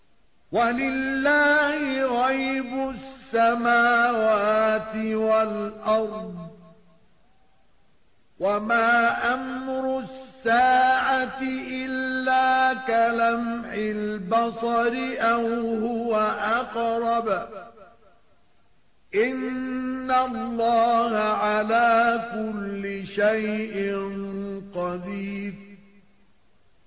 وَلِلَّهِ غَيْبُ السَّمَاوَاتِ وَالْأَرْضِ ۚ وَمَا أَمْرُ السَّاعَةِ إِلَّا كَلَمْحِ الْبَصَرِ أَوْ هُوَ أَقْرَبُ ۚ إِنَّ اللَّهَ عَلَىٰ كُلِّ شَيْءٍ قَدِيرٌ